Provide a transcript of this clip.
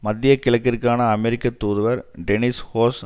மத்திய கிழக்கிற்கான அமெரிக்க தூதுவர் டெனிஸ் றோஸ்